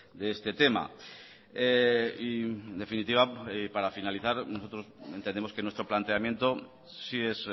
de este tema y en definitiva y para finalizar nosotros entendemos que nuestro planteamiento sí es